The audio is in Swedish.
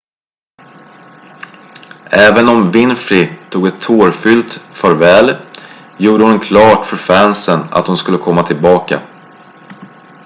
även om winfrey tog ett tårfyllt farväl gjorde hon det klart för fansen att hon skulle komma tillbaka